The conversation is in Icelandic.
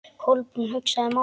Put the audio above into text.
Kolbrún hugsaði málið.